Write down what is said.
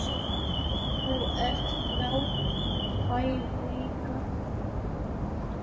Þú ert frábærlega töff!